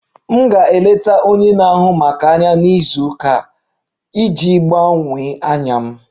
M ga-eleta onye na-ahụ maka anya na izu ụka a iji gbanwee anya m